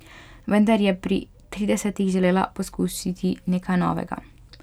Vendar je pri tridesetih želela poskusiti nekaj novega.